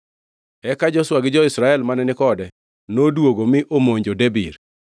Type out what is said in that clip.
Eka Joshua gi jo-Israel mane ni kode noduogo mi omonjo Debir.